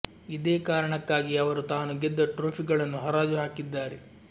ಇದೆ ಕಾರಣಕ್ಕಾಗಿ ಅವರು ತಾನು ಗೆದ್ದ ಟ್ರೋಫಿ ಗಳನ್ನು ಹರಾಜು ಹಾಕಿದ್ದಾರೆ